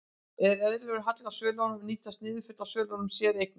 Er eðlilegur halli á svölum og nýtast niðurföll á svölum séreigna?